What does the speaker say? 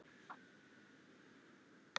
Þannig hefðu galdrar orðið til.